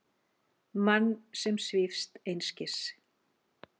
Mann sem svífst einskis.